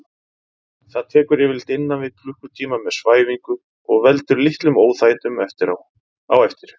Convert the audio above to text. Það tekur yfirleitt innan við klukkutíma með svæfingu og veldur litlum óþægindum á eftir.